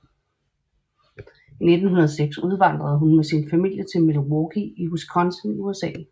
I 1906 udvandrede hun sammen med sin familie til Milwaukee i Wisconsin i USA